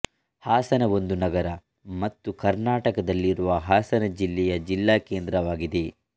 ಹಾಸನ ಒಂದು ನಗರ ಮತ್ತು ಕರ್ನಾಟಕದಲ್ಲಿರುವ ಹಾಸನ ಜಿಲ್ಲೆಯ ಜಿಲ್ಲಾ ಕೇಂದ್ರವಾಗಿದೆ